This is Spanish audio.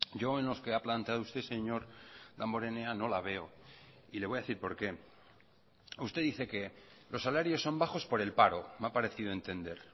yo en los que ha planteado usted señor damborenea no la veo y le voy a decir por qué usted dice que los salarios son bajos por el paro me ha parecido entender